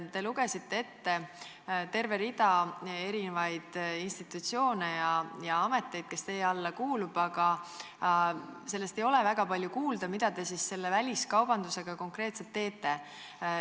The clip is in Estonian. Te lugesite ette terve rea erinevaid institutsioone ja ameteid, kes teie alla kuuluvad, aga ei ole väga palju kuulda sellest, mida te väliskaubandusega seoses konkreetselt teete.